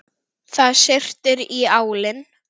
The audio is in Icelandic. Það syrtir í álinn.